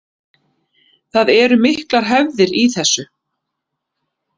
Það eru miklar hefðir í þessu